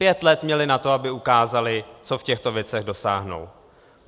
Pět let měli na to, aby ukázali, co v těchto věcech dosáhnou.